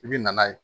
I bi na n'a ye